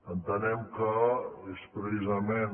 entenem que és precisament